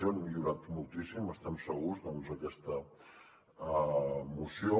hem millorat moltíssim n’estem segurs aquesta moció